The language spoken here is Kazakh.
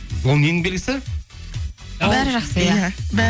ол ненің белгісі бәрі жақсы иә